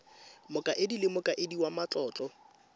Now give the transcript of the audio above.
mokaedi le mokaedi wa matlotlo